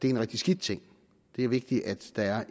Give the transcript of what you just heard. er en rigtig skidt ting det er vigtigt at der